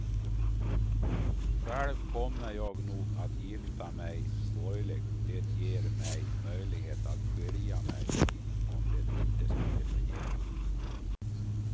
Själv kommer jag nog att gifta mig borgerligt, det ger mig möjligheten att skilja mig om det inte skulle fungera.